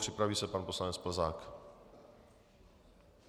Připraví se pan poslanec Plzák.